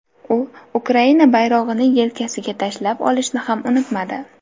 U Ukraina bayrog‘ini yelkasiga tashlab olishni ham unutmadi.